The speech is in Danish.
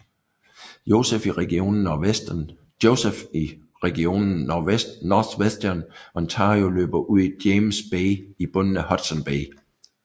Joseph i regionen Northwestern Ontario og løber ud i James Bay i bunden af Hudson Bay